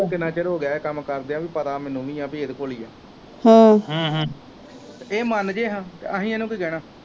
ਕਿਨਾਂ ਚਿਰ ਹੋਗਿਆ ਇਹ ਕੰਮ ਕਰਦਿਆਂ ਵੀ ਪਤਾ ਮੈਨੂੰ ਵੀ ਆ ਪੀ ਇਹਦੇ ਕੋਲ ਈਆ ਇਹ ਮਨਜੇ ਹਾਂ ਅਸੀ ਇਹਨੂੰ ਕੀ ਕਹਿਣਾ।